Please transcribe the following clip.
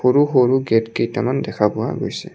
সৰু সৰু গেট কেইটামান দেখা পোৱা গৈছে।